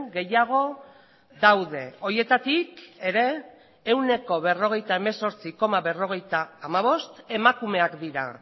gehiago daude horietatik ere ehuneko berrogeita hemezortzi koma berrogeita hamabost emakumeak dira